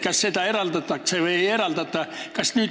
Kas seda eraldatakse või ei eraldata?